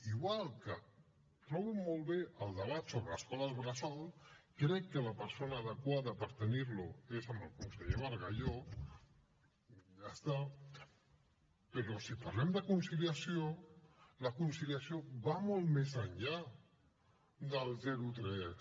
igual que trobo molt bé el debat sobre l’escola bressol crec que la persona adequada per tenir lo és el conseller bargalló i ja està però si parlem de conciliació la conciliació va molt més enllà del zero a tres